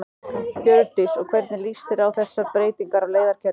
Hjördís: Og hvernig líst þér á þessar breytingar á leiðakerfinu?